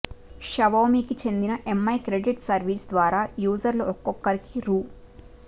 షావోమీకి చెందిన MI credit service ద్వారా యూజర్లకు ఒక్కొక్కరికీ రూ